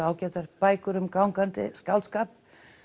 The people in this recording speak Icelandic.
ágætu bækur um gangandi skáldskap